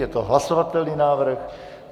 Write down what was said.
Je to hlasovatelný návrh.